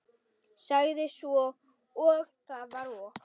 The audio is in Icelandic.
Sagði svo: Það var og